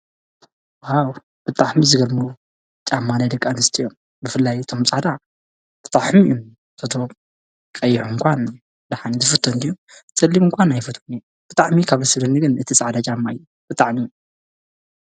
ዋው!! ብጣዕሚ ዝገርሙ ጫማ ናይ ደቂ ኣንስትዮ፣ ብፍላይ እቶም ጻዕዳ ብጣዕሚ !!! እቶም ቀይሕ እንኳን ድሓን ዝፍተዉ እንድዩ!!! ፀሊም እንኳን ኣይፈትዎን እየ!! ብጣዕሚ ካብ ደስ ዝብለኒ ግን እቲ ጻዕዳ ጫማ እዩ ብጣዕሚ ።